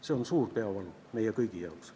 See on suur peavalu meie kõigi jaoks.